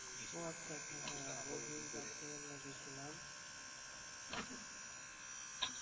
ও আচ্ছা আচ্ছা ওই দিন রাত্রে আমার গেছিলাম